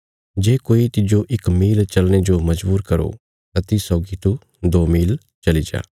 जे कोई तिज्जो इक मील चलने जो मजबूर करो तां तिस सौगी तू दो मील चली जा